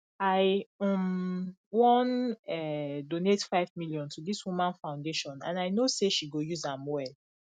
i um wan um donate five million to dis woman foundation and i know say she go use am well